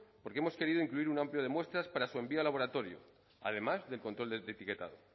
porque hemos querido incluir un amplio de muestras para su envío al laboratorio además del control de etiquetado